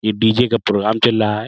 ये डी.जे. का प्रोग्राम चल रहा है।